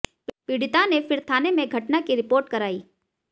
पीड़िता ने फिर थाने में घटना की रिपोर्ट कराई